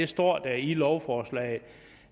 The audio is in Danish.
står i lovforslaget